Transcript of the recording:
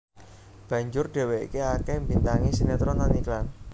Banjur dheweke akeh mbintangi sinetron lan iklan